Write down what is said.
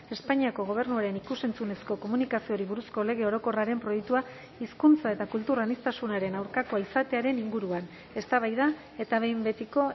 espainiako gobernuaren ikus entzunezko komunikazioari buruzko lege orokorraren proiektua hizkuntza eta kultur aniztasunaren aurkakoa izatearen inguruan eztabaida eta behin betiko